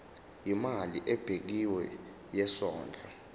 imali ebekiwe yesondlo